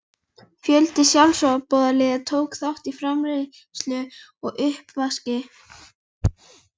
Fjöldi sjálfboðaliða tók þátt í framreiðslu og uppvaski.